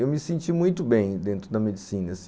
Eu me senti muito bem dentro da medicina.